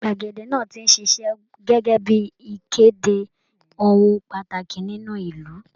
Gbàgede náà ti ṣiṣẹ́ gẹ́gẹ́ bí i ìkéde ohun pàtàkì nínú ìlú